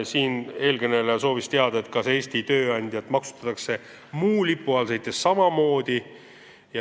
Siinkõneleja soovis teada, kas Eesti tööandjat maksustatakse muu lipu all sõites samamoodi.